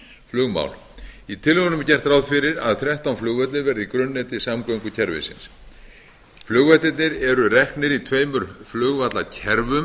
flugmál í tillögunum er gert ráð fyrir að þrettán flugvellir verði í grunnneti samgöngukerfisins flugvellirnir eru reknir í tveimur flugvallakerfum enda gildir um